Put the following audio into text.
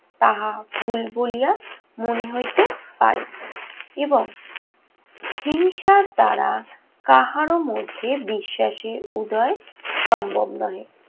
তাহা ভুল বলিয়া মনে হইতে পারে। এবং হিংসার দ্বারা কাহারো মধ্যে বিশ্বাসের উদয় সম্ভব নহে।